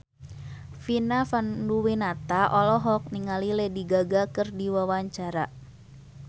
Vina Panduwinata olohok ningali Lady Gaga keur diwawancara